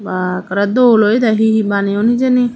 ba akara dol he he baneyoun hejani.